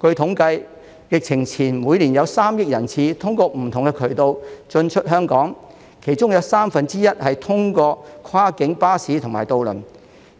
據統計，疫情前每年約有3億人次通過不同渠道進出香港，其中有三分之一是通過跨境巴士和渡輪；